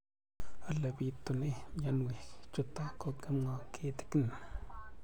Ole pitune mionwek chutok ko kimwau kitig'�n